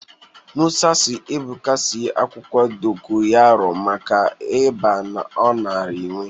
Mụsa siri Ebụka sie akwụkwọ dokoyaro maka ịba ọ nara enwe